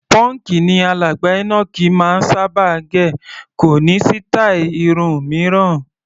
Pọ́ǹkì ni alàgbà Enoch máa ń sábà gẹ̀, kò ní sítáì irun mìíràn.